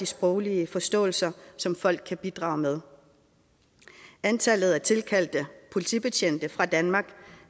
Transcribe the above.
sproglige forståelse som folk kan bidrage med antallet af tilkaldte politibetjente fra danmark